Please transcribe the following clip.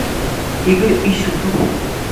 игорь исюпов